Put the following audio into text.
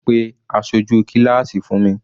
Pe aṣojú kíláásì fún mi.